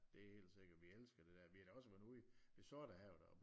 Det er helt sikkert vi elsker det der vi har da også været ude ved Sortehavet